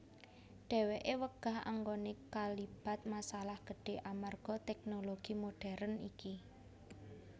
Dheweké wegah anggoné kalibat masalah gedhe amarga teknologi modern iki